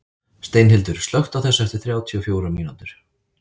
Steinhildur, slökktu á þessu eftir þrjátíu og fjórar mínútur.